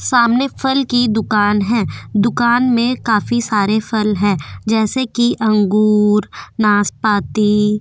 सामने फल की दुकान है दुकान में काफी सारे फल हैं जैसे कि अंगूर नासपाती --